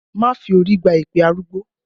Má fi orí gba èpè arúgbó!